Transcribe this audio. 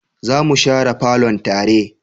za mu share falon tare